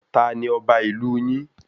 Tanu ọba ìlú yin?